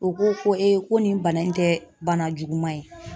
U ko ko ko nin bana in tɛ bana juguman ye.